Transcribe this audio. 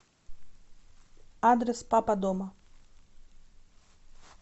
адрес папа дома